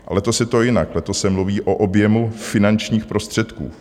Letos je to jinak, letos se mluví o objemu finančních prostředků.